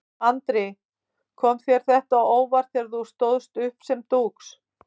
Andri: Kom þér þetta á óvart þegar þú stóðst uppi sem dúx?